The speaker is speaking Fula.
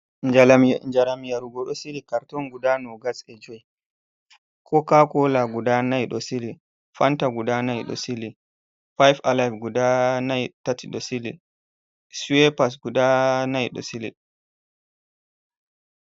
Njaram yarugo ɗo sili karton guda kanji joi, koka kola guda nai ɗo sili, fanta guda nai dosili, 5 alive guda tati ɗo sili, suepars guda nai ɗo sili.